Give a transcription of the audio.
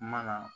Mana